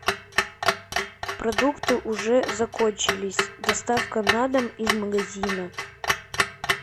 продукты уже закончились доставка на дом из магазина